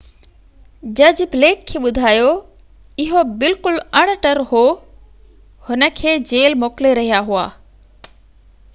جج بليڪ کي ٻڌايو اهو بلڪل اڻ ٽر هو هن کي جيل موڪلي رهيا هئا